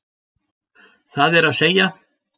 Það er að segja